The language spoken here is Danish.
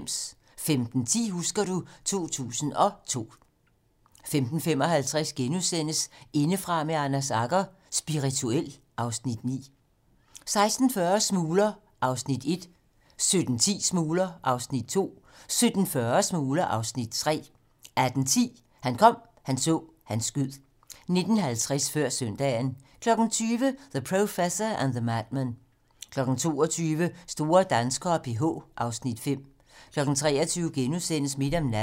15:10: Husker du ... 2002 15:55: Indefra med Anders Agger - Spirituel (Afs. 9)* 16:40: Smugler (Afs. 1) 17:10: Smugler (Afs. 2) 17:40: Smugler (Afs. 3) 18:10: Han kom, han så, han skød 19:50: Før søndagen 20:00: The Professor and the Madman 22:00: Store danskere: PH (Afs. 5) 23:00: Midt om natten *